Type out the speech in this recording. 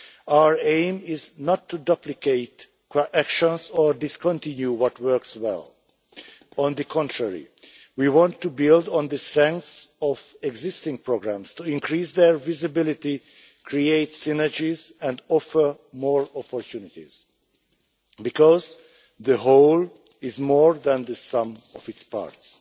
Our aim is not to duplicate actions or discontinue what works well. On the contrary, we want to build on the strengths of existing programmes, to increase their visibility, create synergies and offer more opportunities, because the whole is more than the sum of its parts.